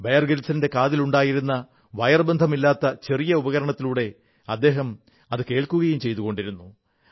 buyer ഗ്രിൽസിന്റെ ചെവിയിലുണ്ടായിരുന്ന wire ബന്ധമില്ലാത്ത ചെറിയ ഉപകരണത്തിലൂടെ അദ്ദേഹം കേൾക്കുകയും ചെയ്തുകൊണ്ടിരുന്നു